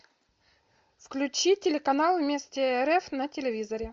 включи телеканал вместе рф на телевизоре